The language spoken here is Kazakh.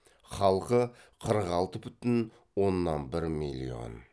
халқы қырық алты бүтін оннан бір миллион